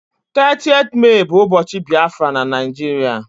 30th Mee bu ubochi Biafra na Naijiria